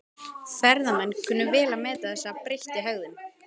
Ferðamenn kunna vel að meta þessa breyttu hegðun.